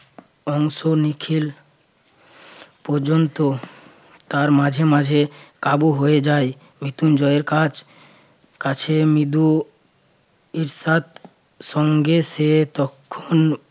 অংশ নিখিল পর্যন্ত তার মাঝে মাঝে কাবু হয়ে যায় মৃত্যুঞ্জয়ের কাজ কাছে মৃদু এরশাদ সঙ্গে সে তখন